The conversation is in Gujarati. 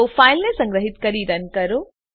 તો ફાઈલને સંગ્રહીત કરી રન કરો